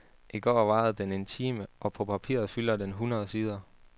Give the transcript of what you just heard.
I går varede den en time, og på papiret fylder den hundrede sider.